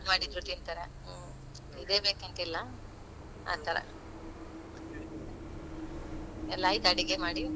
ಮಾಡಿದ್ರು ತಿಂತಾರೆ. ಹ್ಮ್ ಇದೇ ಬೇಕಂತ ಇಲ್ಲ ಆತರ, ಎಲ್ಲ ಆಯ್ತಾ ಅಡುಗೆ ಮಾಡಿ?